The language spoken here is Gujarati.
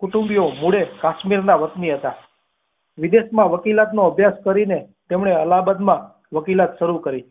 કુટુંબી ઓ મુદ્દે કાશ્મીર ના વાતની હતા વિદેશ માં વકીલાત નો અભ્યાસ કરી ને તેમને અલ્હાબાદ માં અકિલાત શરૂ કરી